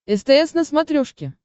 стс на смотрешке